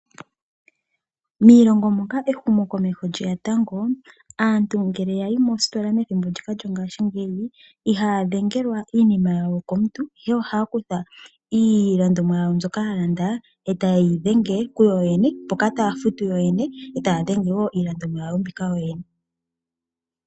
Miilongo moka ehumokomeho lye ya tango, aantu ngele ya yi moositola methimbo ndyoka lyongashingeyi ihaya dhengelwa iinima yawo komuntu, ihe ohaya kutha iilandomwa yawo mbyoka ya landa e taye yi dhenge kuyo yene mpoka taya futu kuyo yene eta futu wo iilandomwa yawo mbika kuyo yene.